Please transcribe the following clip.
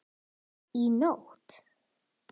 Í nótt?